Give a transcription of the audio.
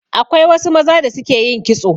Akwai wasu maza da su ke yin kitso